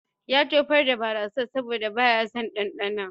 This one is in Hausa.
Ya tofar da barassar saboda baya son ɗanɗanon